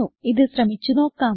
ഇത് ശ്രമിച്ച് നോക്കാം